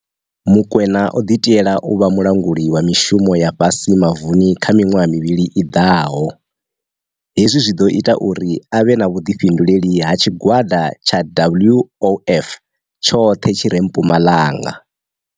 Mokoena o ḓi tiela u vha mu languli wa mishumo ya fhasi mavuni kha miṅwaha mivhili i ḓaho. Hezwi zwi ḓo ita uri a vhe na vhu ḓifhinduleli ha tshig wada tsha WOF tshoṱhe tshi re mpumalanga.